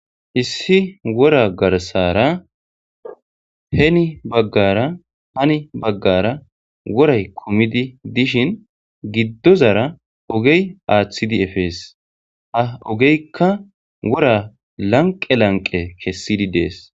Issi wora garsara heni baggara hani baggara woray kumidi dishin giddozara ogey aaththidi efees ha ogeykka wora lanqe lanqe kessidi dees